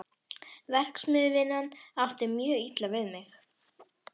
Verksmiðjuvinnan átti mjög illa við mig.